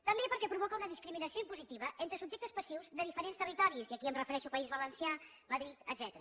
també perquè provoca una discriminació impositiva entre subjectes passius de diferents territoris i aquí em refereixo a país valencià madrid etcètera